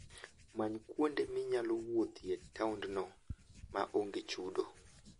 Many kuonde minyalo wuothie e taondno ma onge chudo.